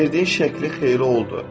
Verdiyin şəkli xeyri oldu.